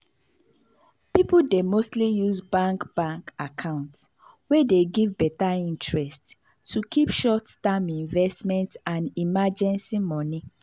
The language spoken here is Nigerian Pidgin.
people dey mostly use bank bank account wey dey give better interest to keep short-term investment and emergency money.